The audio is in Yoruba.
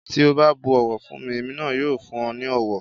Tí o bá bu ọ̀wọ̀ fún mi, èmi náà yóò fún ọ ní ọ̀wọ̀.